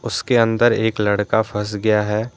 उसके अंदर एक लड़का फंस गया है।